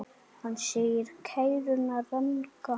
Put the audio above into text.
Hann segir kæruna ranga.